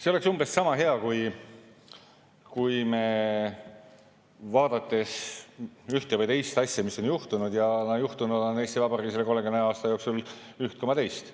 See oleks umbes sama hea, kui me vaatame ühte või teist asja, mis on juhtunud, ja juhtunud on Eesti Vabariigis rohkem kui 30 aasta jooksul üht koma teist.